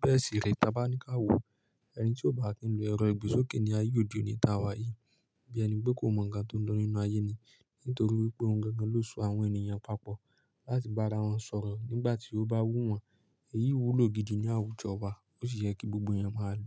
Bẹ́ẹ̀ sì rí, tí a bá ní káwo, ẹni tí ò bá kí ń lo ẹ̀rọ ìgbésókè ni ayé òdì oníta wá yí. Bí ẹni pé kò mọ ǹkan tó ń lọ nínú ayé ni, nítorí wípé ohun gangan ló so àwọn ènìyàn papọ̀ láti bá ara wọn sọ̀rọ̀ nígbà tí ó bá wù wọ́n. Èyí wúlò gidi ní àwùjọ wa, ó sì ye kí gbogbo ẹeyan máa lo.